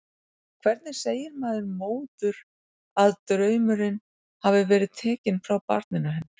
Hvernig segir maður móður að draumurinn hafi verið tekinn frá barninu hennar?